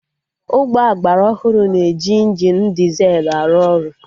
Ụgbọ agbara ọhụrụ na-eji injini dizelụ arụ ọrụ